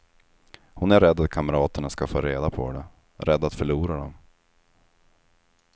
Hon är rädd att kamraterna ska få reda på det, rädd att förlora dem.